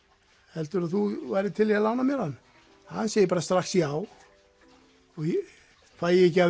heldurðu að þú værir til í að lána mér hann hann segir bara strax já fæ ég ekki að